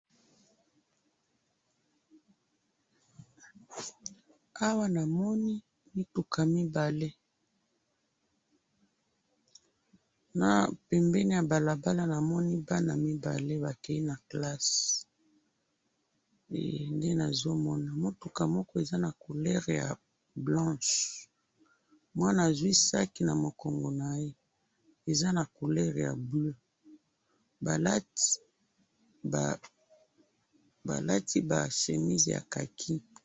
awa namoni mituka mibale na pembeni ya balabala namoni bana mibale bakeyi na kelasi he nde nazo mona mutuka moko eza na couleur ya blanche mwana azwi sac na mukongo naye eza na couleur ya bleu balati ba chemise ya kaki.